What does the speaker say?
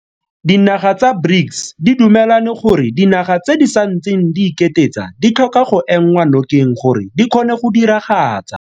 Dinaga tsa BRICS di dumelane gore dinaga tse di santseng di iketetsa ditlhoka go enngwa nokeng gore di kgone go diragatsa.